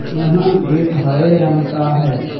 यहां गेट हरे रंग का है।